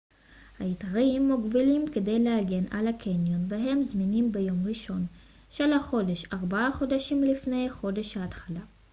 ההיתרים מוגבלים כדי להגן על הקניון והם זמינים ביום הראשון של החודש ארבעה חודשים לפני חודש ההתחלה